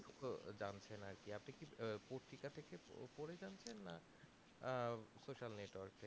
জানছেন আরকি আপনি কি পত্রিকা থেকে পরে জানছেন না আহ social network থেকে জানছেন